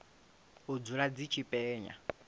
u dzula dzi tshi penya